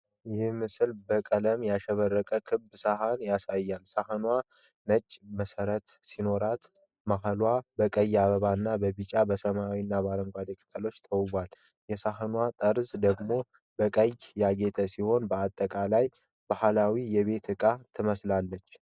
ይህ ምስል በቀለም ያሸበረቀች ክብ ሳህን ያሳያል። ሳህኗ ነጭ መሠረት ሲኖራት፣ መሃሉ በቀይ አበባ እና በቢጫ፣ በሰማያዊ እና በአረንጓዴ ቅጠሎች ተውቧል። የሳህኗ ጠርዝ ደግሞ በቀይ ያጌጠ ሲሆን፣ በአጠቃላይ ባህላዊ የቤት ዕቃ ትመስላለች።